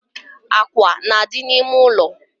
Akwa na-adị n’ime ụlọ